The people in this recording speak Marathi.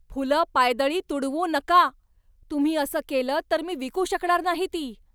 फुलं पायदळी तुडवू नका! तुम्ही असं केलंत तर मी विकू शकणार नाही ती!